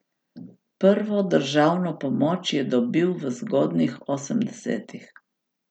Prvo državno pomoč je dobil v zgodnjih osemdesetih.